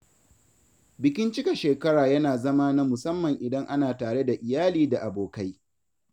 Bikin cika shekara yana zama na musamman idan ana tare da iyali da abokai.